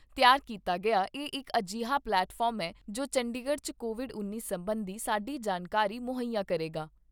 ਵਲੋਂ ਤਿਆਰ ਕੀਤਾ ਗਿਆ ਇਹ ਇੱਕ ਅਜਿਹਾ ਪਲੇਟਫਾਰਮ ਏ ਜੋ ਚੰਡੀਗੜ੍ਹ 'ਚ ਕੋਵਿਡ ਉੱਨੀ ਸਬੰਧੀ ਸਾਡੀ ਜਾਣਕਾਰੀ ਮੁਹੱਈਆ ਕਰੇਗਾ।